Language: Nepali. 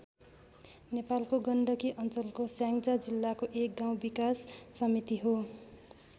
नेपालको गण्डकी अञ्चलको स्याङ्जा जिल्लाको एक गाउँ विकास समिति हो।